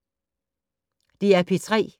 DR P3